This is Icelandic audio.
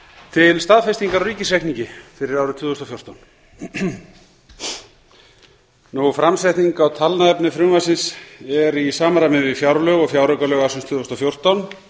til staðfestingar á ríkisreikningi fyrir árið tvö þúsund og fjórtán framsetning á talnaefni frumvarpsins er í samræmi við fjárlög og fjáraukalög ársins tvö þúsund og fjórtán